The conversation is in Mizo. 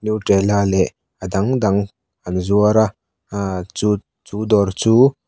nutrela leh a dang dang an zuar a ahhh chu chu dawr chu--